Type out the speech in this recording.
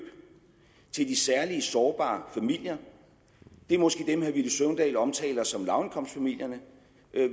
til de særlig sårbare familier det er måske dem herre villy søvndal omtaler som lavindkomstfamilierne